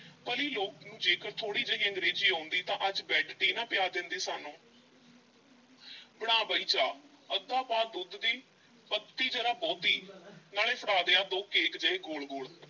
ਭਲੀ ਲੋਕ ਨੂੰ ਜੇਕਰ ਥੋੜ੍ਹੀ ਜਿਹੀ ਅੰਗਰੇਜ਼ੀ ਆਉਂਦੀ ਤਾਂ ਅੱਜ bed tea ਨਾ ਪਿਆ ਦੇਂਦੀ ਸਾਨੂੰ ਬਣਾ ਬਈ ਚਾਹ ਅੱਧ ਪਾ ਦੁੱਧ ਦੀ ਪੱਤੀ ਜ਼ਰਾ ਬਹੁਤੀ ਨਾਲੇ ਫੜਾ ਦੇ ਆਹ ਦੋ ਕੇਕ ਜਿਹੇ ਗੋਲ-ਗੋਲ।